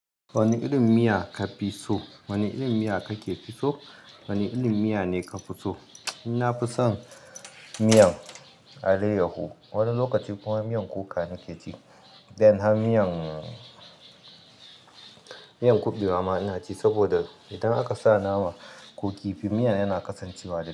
Wane irin miya ka fi so? Wane irin miya kake fi so? Wane irin miya ne ka fi so? Na fi son miyan alayyahu, wani lokaci kuma miyan kuka nake ci. Dan har miyan, miyan kuɓewa ma ina ci saboda idan aka sa nama ko kifi miya yana kasancewa da.